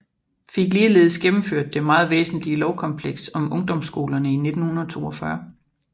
Fik ligeledes gennemført det meget væsentlige lovkompleks om ungdomsskolerne i 1942